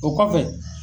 O kɔfɛ